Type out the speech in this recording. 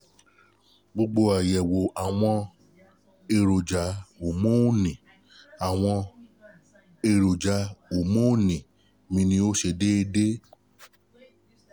Gbogbo àyẹ̀wò àwọn èròjà homọ́nì àwọn èròjà homọ́nì mi ní ó ṣe déédé